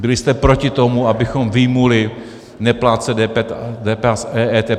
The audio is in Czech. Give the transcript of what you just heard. Byli jste proti tomu, abychom vyjmuli neplátce DPH z EET.